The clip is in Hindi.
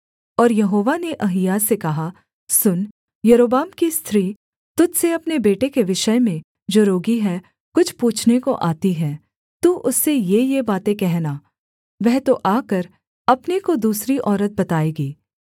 और यहोवा ने अहिय्याह से कहा सुन यारोबाम की स्त्री तुझ से अपने बेटे के विषय में जो रोगी है कुछ पूछने को आती है तू उससे येये बातें कहना वह तो आकर अपने को दूसरी औरत बताएगी